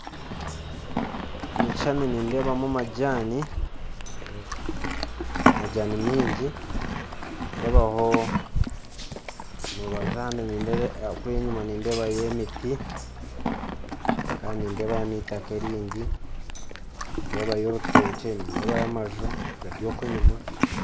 Omu kishushani nindeebamu majaani majaani maingi nindeebaho mu rubaju kuri enyuma nindebayo emiti kandi nindeeba neitaka erindi nindeebayo orutookye nindebayo amaju gari oku enyuma